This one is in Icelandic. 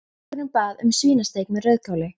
Drengurinn bað um svínasteik með rauðkáli.